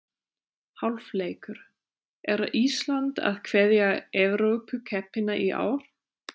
Hálfleikur: Er Ísland að kveðja Evrópukeppnina í ár?